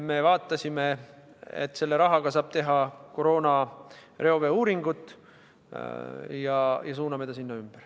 Me vaatasime, et selle rahaga saab teha koroona reoveeuuringut, ja suuname ta sinna ümber.